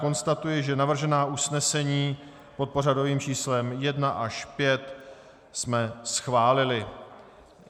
Konstatuji, že navržená usnesení pod pořadovými čísly 1 až 5 jsme schválili.